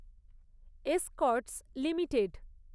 Escorts limited